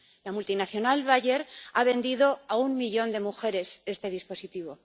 La multinacional Bayer ha vendido a un millón de mujeres este dispositivo.